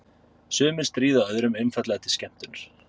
Sumir stríða öðrum einfaldlega til skemmtunar.